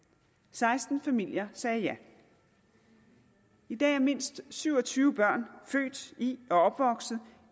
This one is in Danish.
seksten familier sagde ja i dag er mindst syv og tyve børn født i og opvokset